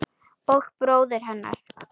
Og bróður hennar.